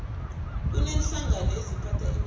kuneenhlangano eziphatha imidlalo